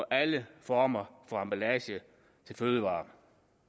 alle former for emballage til fødevarer